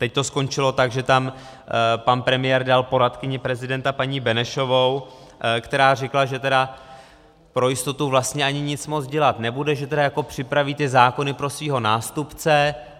Teď to skončilo tak, že tam pan premiér dal poradkyni prezidenta paní Benešovou, která řekla, že tedy pro jistotu vlastně ani nic moc dělat nebude, že tedy jako připraví ty zákony pro svého nástupce.